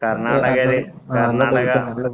കര്‍ണാടകയില്, Karnataka